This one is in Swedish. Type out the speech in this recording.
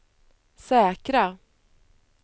säkra